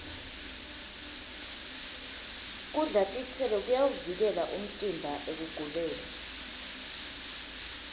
kudla titselo kuyawuvikela umtimba ekuguleni